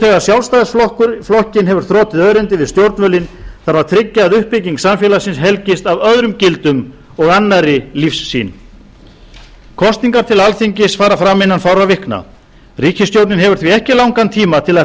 þegar sjálfstæðisflokkinn hefur þrotið örendið við stjórnvölinn þarf að tryggja að uppbygging samfélagsins helgist af öðrum gildum og annarri lífssýn kosningar til alþingis fara fram innan fárra vikna ríkisstjórnin hefur því ekki langan tíma til að